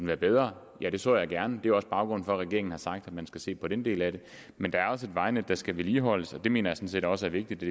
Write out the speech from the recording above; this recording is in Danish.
være bedre ja det så jeg gerne det er også baggrunden for at regeringen har sagt at man skal se på den del af det men der er også et vejnet der skal vedligeholdes og det mener set også er vigtigt at